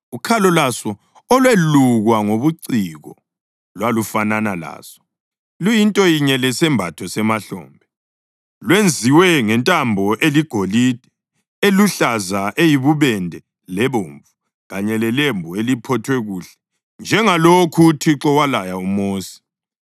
Ukhalo lwaso olwelukwa ngobuciko lwalufanana laso, luyinto yinye lesembatho semahlombe, lwenziwe ngentambo eligolide, eluhlaza, eyibubende lebomvu, kanye lelembu eliphothwe kuhle, njengalokhu uThixo walaya uMosi.